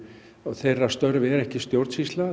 þeirra störf eru ekki stjórnsýsla